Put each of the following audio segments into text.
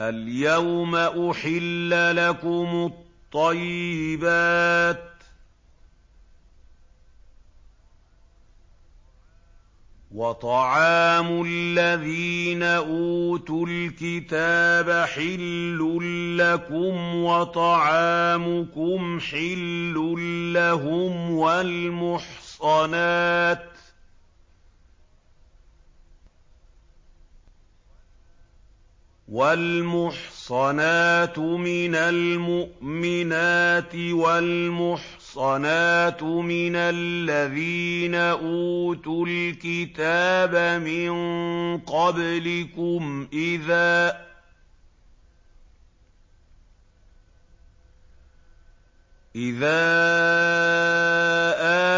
الْيَوْمَ أُحِلَّ لَكُمُ الطَّيِّبَاتُ ۖ وَطَعَامُ الَّذِينَ أُوتُوا الْكِتَابَ حِلٌّ لَّكُمْ وَطَعَامُكُمْ حِلٌّ لَّهُمْ ۖ وَالْمُحْصَنَاتُ مِنَ الْمُؤْمِنَاتِ وَالْمُحْصَنَاتُ مِنَ الَّذِينَ أُوتُوا الْكِتَابَ مِن قَبْلِكُمْ إِذَا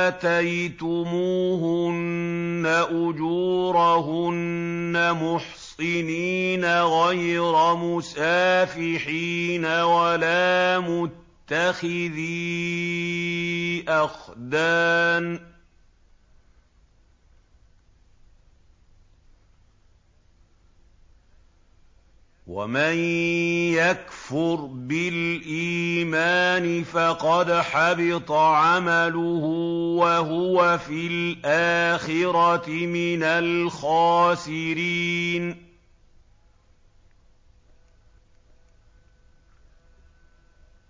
آتَيْتُمُوهُنَّ أُجُورَهُنَّ مُحْصِنِينَ غَيْرَ مُسَافِحِينَ وَلَا مُتَّخِذِي أَخْدَانٍ ۗ وَمَن يَكْفُرْ بِالْإِيمَانِ فَقَدْ حَبِطَ عَمَلُهُ وَهُوَ فِي الْآخِرَةِ مِنَ الْخَاسِرِينَ